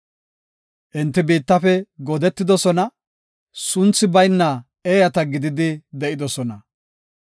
Enti biittafe goodetidosona; sunthi bayna eeyata gididi de7idosona.